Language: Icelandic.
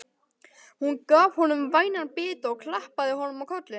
Hún gaf honum vænan bita og klappaði honum á kollinn.